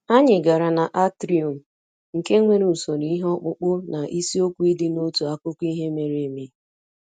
Anyị gara na atrium, nke nwere usoro ihe ọkpụkpụ na isiokwu ịdị n'otu akụkọ ihe mere eme